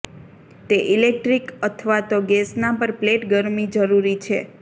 તે ઇલેક્ટ્રિક અથવા તો ગેસના પર પ્લેટ ગરમી જરૂરી છે